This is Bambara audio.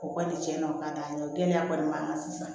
O kɔni cɛn na o ka d'an ye o gɛlɛya kɔni b'an kan sisan